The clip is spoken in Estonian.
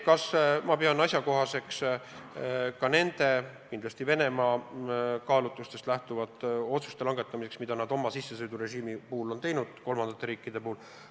Kas ma pean asjakohaseks langetada Venemaa kaalutlustest lähtuvaid otsuseid, võttes eeskujuks sissesõidurežiimi, mis Venemaa on kehtestanud kolmandate riikide puhul?